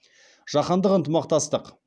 жаһандық ынтымақтастық